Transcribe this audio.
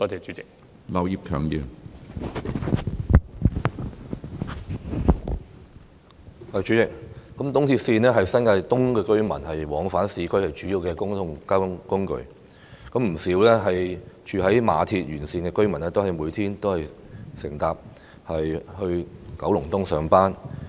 主席，東鐵線是新界東居民往返市區的主要公共交通工具，不少居住於馬鞍山線沿線地區的居民每天都乘搭鐵路前往九龍東上班。